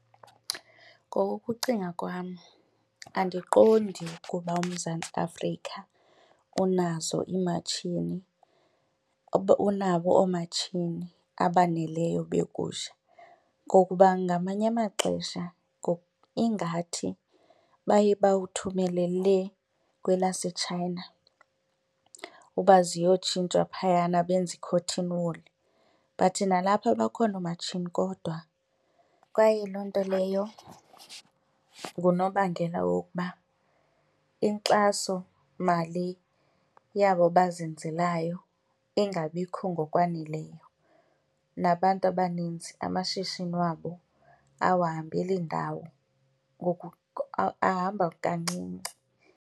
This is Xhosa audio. Ngokokucinga kwam andiqondi ukuba uMzantsi Afrika unazo iimatshini, unabo oomatshini, abaneleyo begusha ngokuba ngamanye amaxesha ingathi baye bawuthumele lee kwelaseChina uba ziyotshintshwa phayana benze i-cotton wool. But nalapha bakhona oomatshini kodwa kwaye loo nto leyo ngunobangela wokuba inkxasomali yabo bazenzelayo ingabikho ngokwaneleyo nabantu abaninzi amashishini wabo awahambeli indawo, ahamba kancinci.